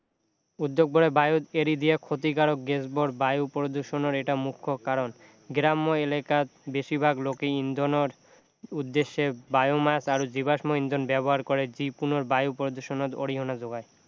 উদ্যোগবোৰে বায়ুত এৰি দিয়া ক্ষতিকাৰক গেছবোৰ বায়ু প্ৰদূষণৰ এটা মুখ্য কাৰণ গ্ৰাম্য এলেকাত বেছিভাগ লোকে ইন্ধনৰ উদ্দশ্য়ে biomass আৰু জীৱাশ্ম ইন্ধন ব্যৱহাৰ কৰে যি পুনৰ বায়ু প্ৰদূষণত অৰিহণা যোগায়